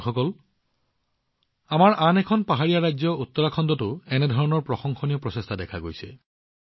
বন্ধুসকল আমাৰ আন এখন পাহাৰীয়া ৰাজ্য উত্তৰাখণ্ডতো এনে ধৰণৰ প্ৰশংসনীয় প্ৰচেষ্টা দেখা গৈছে